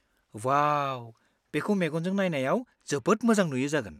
वाव! बेखौ मेगनजों नायनायाव जोबोद मोजां नुयो जागोन।